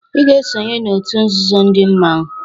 "Ị ga-esonye na òtù nzuzo ndị mmanwu"